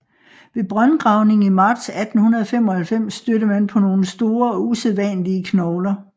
Ved brøndgravning i marts 1895 stødte man på nogle store og usædvanlige knogler